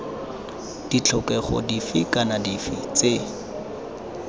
ditlhokego dife kana dife tse